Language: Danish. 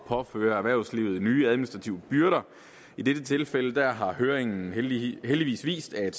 påføre erhvervslivet nye administrative byrder i dette tilfælde har høringen heldigvis vist at